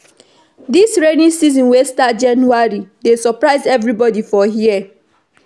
Dis rainy season wey start January dey surprise everybodi for here.